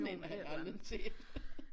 Sådan en har jeg aldrig set